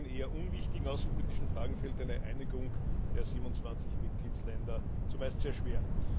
Selbst in eher unwichtigen außenpolitischen Fragen fällt eine Einigung der 27 Mitgliedstaaten zumeist sehr schwer.